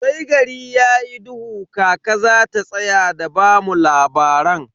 Sai gari yayi duhu kaka zata tsaya da bamu labaran.